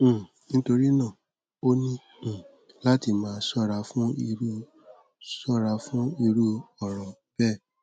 um nítorí náà o ní um láti máa ṣóra fún irú ṣóra fún irú ọrọ bẹẹ